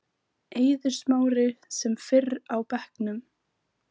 Eiður Smári sem fyrr á bekknum